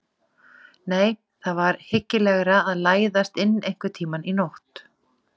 Nei, það var hyggilegra að læðast inn einhvern tíma í nótt.